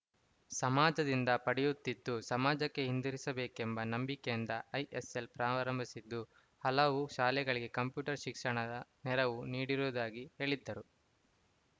ಸಮಾಜದಿಂದ ಪಡೆಯುತ್ತಿದ್ದು ಸಮಾಜಕ್ಕೆ ಹಿಂತಿರುಗಿಸಬೇಕೆಂಬ ನಂಬಿಕೆಯಿಂದ ಐಸೆಲ್‌ ಪ್ರಾರಂಭಿಸಿದ್ದು ಹಲವು ಶಾಲೆಗಳಿಗೆ ಕಂಪ್ಯೂಟರ್‌ ಶಿಕ್ಷಣದ ನೆರವು ನೀಡಿರುವುದಾಗಿ ಹೇಳಿದರು